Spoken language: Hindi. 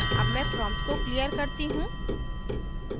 अब मैं prompt को clear करती हूँ